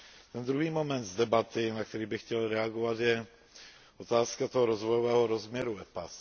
Ten druhý moment z debaty, na který bych chtěl reagovat, je otázka toho rozvojového rozměru dohod EPA.